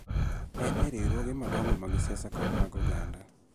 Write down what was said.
En e riwruoge madongo mag siasa kod mag oganda.